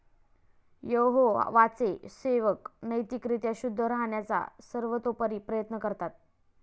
यहोवाचे सेवक नैतिक रीत्या शुद्ध राहण्याचा सर्वतोपरी प्रयत्न करतात.